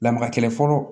Lamaga kɛlɛ fɔlɔ